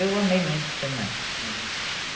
Eu amei muito ser mãe.